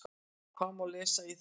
Hvað má lesa í það?